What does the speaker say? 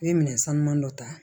U ye minɛn sanuman dɔ ta